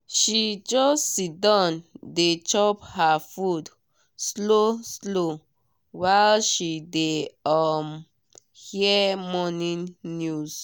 she just siddon dey chop her food slow slow while she dey um hear morning news.